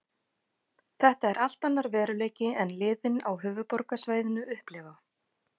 Þetta er allt annar veruleiki en liðin á höfuðborgarsvæðinu upplifa.